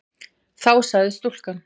Þá sagði stúlkan